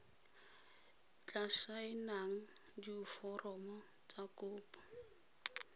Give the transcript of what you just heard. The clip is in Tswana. tla saenang diforomo tsa kopo